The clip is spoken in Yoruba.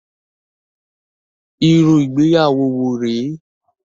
Irú ìgbéyàwó wo rè é?